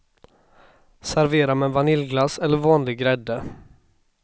Servera med vaniljglass eller vanlig grädde.